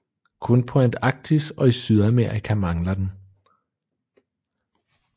Kun på Antarktis og i Sydamerika mangler den